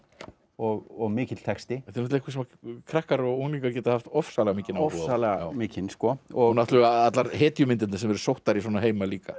og mikill texti þetta er eitthvað sem krakkar og unglingar geta haft ofsalega mikinn áhuga á ofsalega mikinn náttúrulega allar hetjumyndirnar sem eru sóttar í svona heima líka